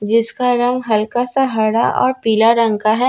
जिसका रंग हल्का सा हरा और पीला रंग का है।